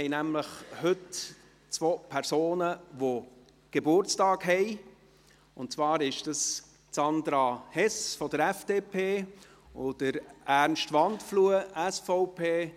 Heute haben wir nämlich zwei Personen unter uns, die Geburtstag haben, und zwar sind dies Sandra Hess, von der FDP, und Ernst Wandfluh, SVP.